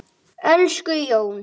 Elsku Jón.